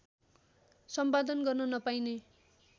सम्पादन गर्न नपाइने